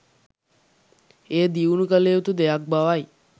එය දියුණු කළයුතු දෙයක් බව යි.